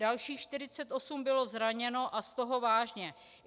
Dalších 48 bylo zraněno a z toho vážně.